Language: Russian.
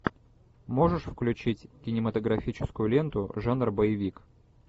можешь включить кинематографическую ленту жанр боевик